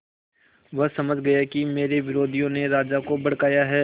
वह समझ गया कि मेरे विरोधियों ने राजा को भड़काया है